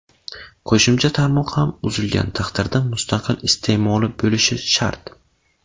Qo‘shimcha tarmoq ham uzilgan taqdirda mustaqil iste’moli bo‘lishi shart.